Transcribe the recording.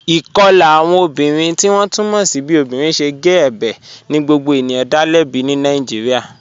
Ikọla awọn obìnrin tí wọn tú mọ́ sí bí obìnrin ṣẹ̀ gé ẹ̀bẹ̀ ni gbogbo ènìyàn dá lẹ̀bí ní Nàìjíríà.